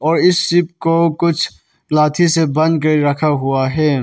और इस शिप को कुछ से बांध के रखा हुआ है।